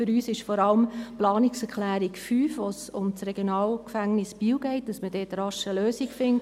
Für uns ist vor allem die Planungserklärung 5 wichtig, wo es um das RG Biel geht und dass man dort rasch eine Lösung findet.